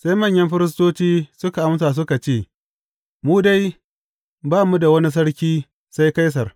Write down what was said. Sai manyan firistoci suka amsa suka ce, Mu dai, ba mu da wani sarki sai Kaisar.